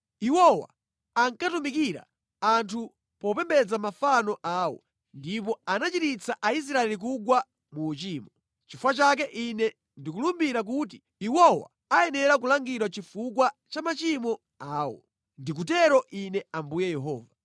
Iwowa ankatumikira anthu popembedza mafano awo, ndipo anachititsa Aisraeli kugwa mu uchimo. Nʼchifukwa chake Ine ndikulumbira kuti iwowa ayenera kulangidwa chifukwa cha machimo awo. Ndikutero Ine Ambuye Yehova.